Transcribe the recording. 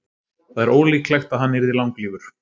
það er ólíklegt að hann yrði langlífur